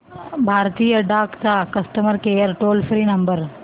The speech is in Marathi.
भारतीय डाक चा customer care toll free number